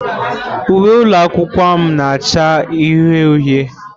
Uwe ụlọ akwụkwọ m na-acha uhie uhie.